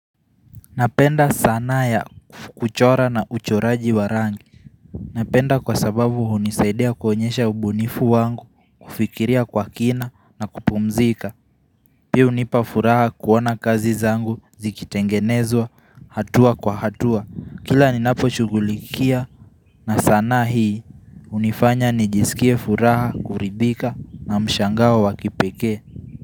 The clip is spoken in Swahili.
Napenda sanaa ya kuchora na uchoraji warangi Napenda kwa sababu hunisaidia kuonyesha ubunifu wangu kufikiria kwa kina na kupumzika Pia unipa furaha kuona kazi zangu zikitengenezwa hatua kwa hatua Kila ni napo chugulikia na sana hii unifanya nijisikie furaha kuribika na mshangao wakipekee.